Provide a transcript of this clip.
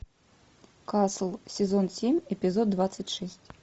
касл сезон семь эпизод двадцать шесть